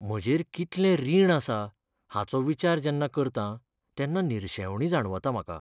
म्हजेर कितलें रीण आसा हाचो विचार जेन्ना करतां तेन्ना निरशेवणी जाणवता म्हाका.